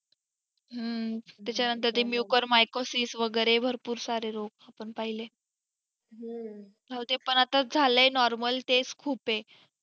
ह त्याचा नंतर ते mukarsis mykosis वगेरे भरपूर सारे रोग आपण पहिले अहो ते पण आताच झालाय normal तेच खूप आहे